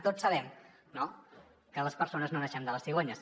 tots sabem no que les persones no naixem de les cigonyes